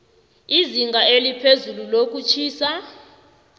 izinga eliphezulu lokutjhisa